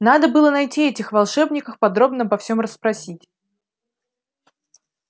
надо было найти этих волшебников подробно обо всем расспросить